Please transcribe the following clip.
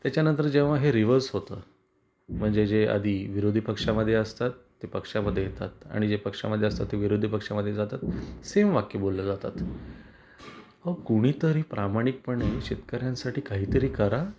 त्याच्या नंतर जेव्हा हे रिव्हर्स होतं म्हणजे जे आधी विरोधी पक्षां मध्ये असतात ते पक्षामध्ये येतात आणि जे पक्षा मध्ये असतात ते विरोधी पक्षा मध्ये जातात सेम वाक्य बोलल जातात. अहो कुणीतरी प्रामाणिक पणे शेतकर्यांसाठी काहीतरी करा.